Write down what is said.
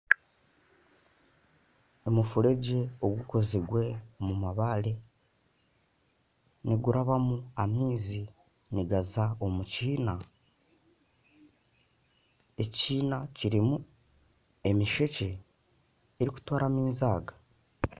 Omufuregye ogukozirwe omumabaare nigurabwamu amaizi nigaza omukiina ekiina kirimu emishekye erikutwara amaizi aga